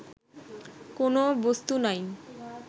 কোন বস্তু নাই